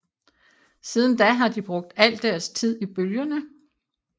Siden da har de brugt al deres tid i bølgerne